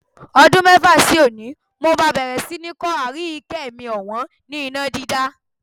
Ọdún mẹ́fà sí òní, mó máa bẹ̀rẹ̀ sí ni kọ́ Aríyìíkẹ́ mi ọ̀wọ́n ni iná dídá.